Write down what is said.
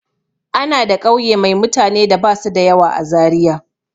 Ana da ƙauye mai mutane da ba su da yawa a Zariya.